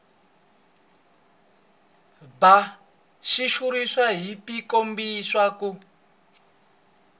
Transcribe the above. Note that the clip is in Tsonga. bya xitshuriwa byi kombisa ku